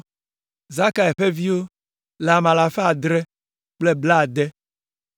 Zakai ƒe viwo le ame alafa adre kple blaade (760).